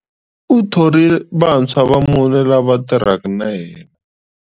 U thorile vantshwa vamune lava tirhaka na yena.